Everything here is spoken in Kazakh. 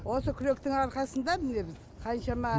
осы күректің арқасында міне біз қаншама